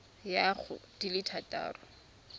ya go di le thataro